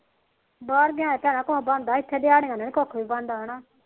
ਬਾਹਰ ਗਿਆ ਦਾ ਭੈਣਾ ਕੁਛ ਬਣਦਾ ਇਥੇ ਦਿਹਾੜੀਆਂ ਦਾ ਨੀ ਕੁਖ ਵੀ ਬਣਦਾ